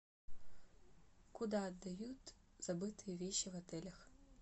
куда отдают забытые вещи в отелях